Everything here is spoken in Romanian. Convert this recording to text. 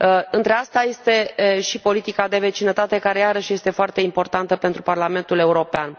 Între acestea este și politica de vecinătate care, iarăși, este foarte importantă pentru Parlamentul European.